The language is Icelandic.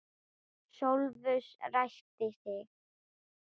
Sófus ræskti sig.